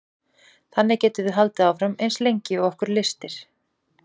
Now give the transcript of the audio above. þannig getum við haldið áfram eins lengi og okkur lystir